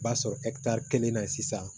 B'a sɔrɔ kelen na sisan